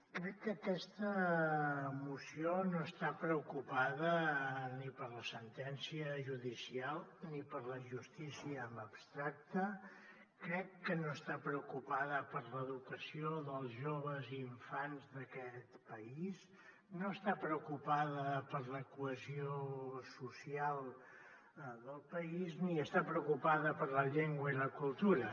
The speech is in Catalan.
crec que aquesta moció no està preocupada ni per la sentència judicial ni per la justícia en abstracte crec que no està preocupada per l’educació dels joves i infants d’aquest país no està preocupada per la cohesió social del país ni està preocupada per la llengua i la cultura